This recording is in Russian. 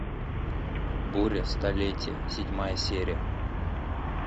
буря столетия седьмая серия